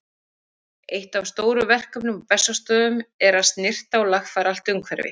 Eitt af stórum verkefnum á Bessastöðum er að snyrta og lagfæra allt umhverfi.